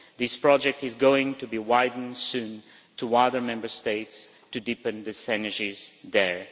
This project is going to be widened soon to other Member States to deepen the synergies there.